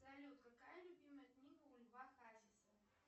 салют какая любимая книга у льва хасиса